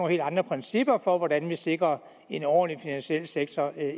helt andre principper for hvordan man sikrer en ordentlig finansiel sektor